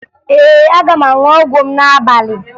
Ee, aga m aṅụ ọgwụ m n'abalị